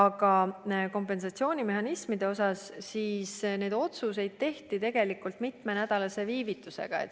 Ja kompensatsioonimehhanisme puudutanud otsuseid tehti tegelikult mitmenädalase viivitusega.